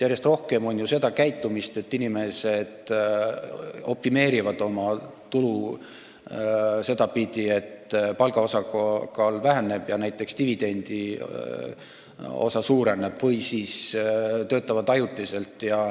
Järjest rohkem tuleb ette, et inimesed optimeerivad oma tulu sedapidi, et palga osakaal väheneb ja näiteks dividendiosa suureneb, või siis töötavad ajutiselt.